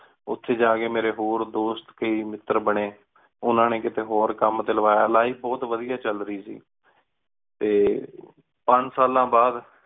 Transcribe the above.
ਓਥੀ ਜਾ ਕ ਮੇਰੀ ਹੋਰ ਦੋਸਤ ਕਈ ਮਿੱਤਰ ਬਨੀ ਓਹਨਾ ਨੀ ਕੀਤੀ ਹੋਰ ਕਾਮ ਟੀ ਲਾਵਾਯਾ life ਬੋਹਤ ਵਾਦਿਯ ਚਲ ਰਾਇ ਸੀ ਤੇ ਪੰਜ ਸਾਲਾਂ ਬਾਦ